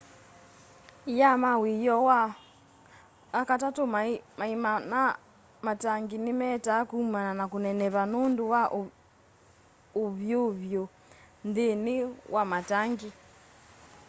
ia ma wioo ma wakatatũ maima ma matangi nĩ metaa kũmana na kũneneva nũndũ wa ũvyũvũ nthĩni wa matangi